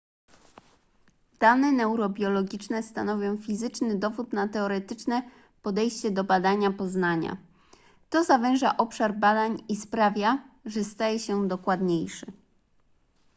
dane neurobiologiczne stanowią fizyczny dowód na teoretyczne podejście do badania poznania to zawęża obszar badań i sprawia że staje się dokładniejszy